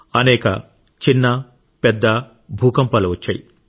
అనేక చిన్న పెద్ద భూకంపాలు వచ్చాయి